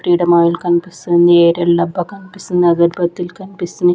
Freedom oil కన్పిస్తుంది Ariel డబ్బా కన్పిస్తుంది అగర్బత్తి లు కన్పిస్తున్నాయ్.